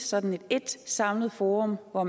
sådan ét samlet forum hvor